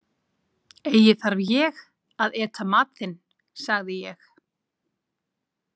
Eigi þarf ég að eta mat þinn, sagði ég.